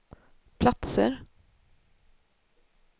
platser